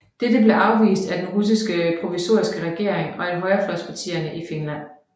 Dette blev afvist af den russiske provisoriske regering og af højrefløjspartierne i Finland